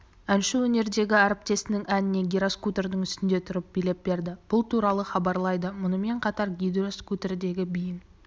әнші өнердегі әріптесінің әніне гироскутердің үстінде тұрып билеп берді бұл туралы хабарлайды мұнымен қатар гироскутердегі биін